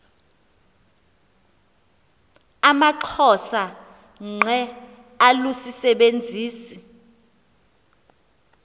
amaxhosa ngqe alusisebenzisi